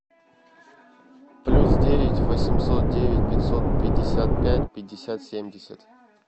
плюс девять восемьсот девять пятьсот пятьдесят пять пятьдесят семьдесят